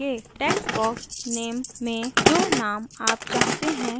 text box name में जो नाम आप चाहते हैं टाइप करें